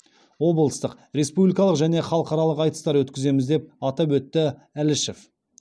облыстық республикалық және халықаралық айтыстар өткіземіз деп атап өтті әлішев